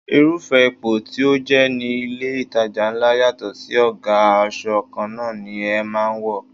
Irúfẹ́ ipò tí o jẹ ní ilé itàjà ńlá yàtọ̀ sí ọ̀gá, aṣọ kanna ni ẹ máa wò.